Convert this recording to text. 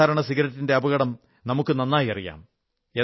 സാധാരണ സിഗരറ്റിന്റെ അപകടം നമുക്ക് നന്നായി അറിയാം